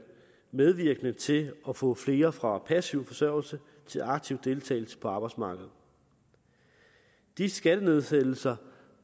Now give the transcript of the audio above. medvirkende til at få flere fra passiv forsørgelse til aktiv deltagelse på arbejdsmarkedet de skattenedsættelser